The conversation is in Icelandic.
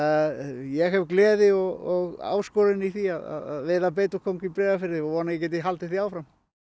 ég hef gleði og áskorun í því að veiða beitukóng í Breiðafirði og vona að ég geti haldið því áfram